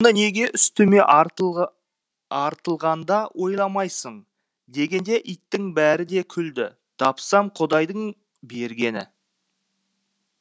неге үстіме артылғанда ойламайсың дегенде иттің бәрі ду күлді тапсам құдайдың бергені